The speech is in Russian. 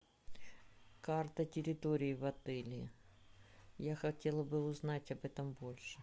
карта территории в отеле я хотела бы узнать об этом больше